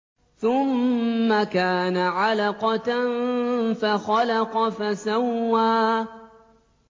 ثُمَّ كَانَ عَلَقَةً فَخَلَقَ فَسَوَّىٰ